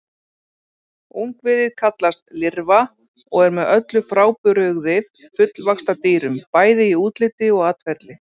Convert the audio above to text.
Ungviðið kallast lirfa og er með öllu frábrugðið fullvaxta dýrum, bæði í útliti og atferli.